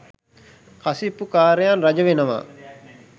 කසිප්පු කාරයන් රජවෙනවා